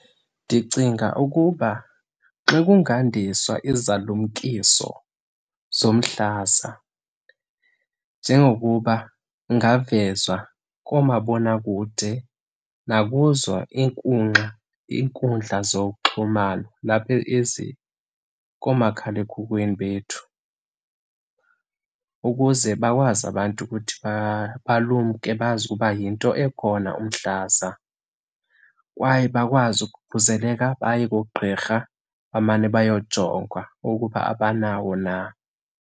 Ndicinga ukuba xa kungandiswa izalumkiso zomhlaza njengokuba kungavezwa koomabonwakude nakuzo iinkunkxa, iinkundla zokuxhumana lapha ezikoomakhala ekhukweni bethu ukuze bakwazi abantu ukuthi balumke bazi ukuba yinto ekhona umhlaza. Kwaye bakwazi ukukhuseleka baye koogqirha, bamane beyojongwa ukuba abanawo na.